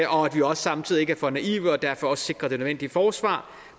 vi også samtidig ikke er for naive og derfor også sikrer det nødvendige forsvar